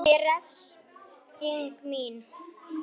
Hann er refsing mín.